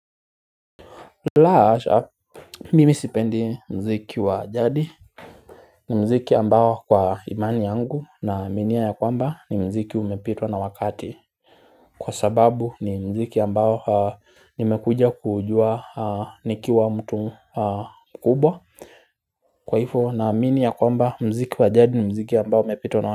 La hasha, mimi sipendi mziki wa jadi ni mziki ambao kwa imani yangu na aminia ya kwamba ni mziki umepitwa na wakati kwa sababu ni mziki ambao nimekuja kujua nikiwa mtu mkubwa Kwaifo na amini ya kwamba mziki wajadi ni mziki ambao umepitwa na wakati.